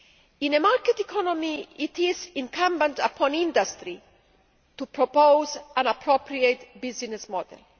In a market economy, it is incumbent upon industry to propose an appropriate business model.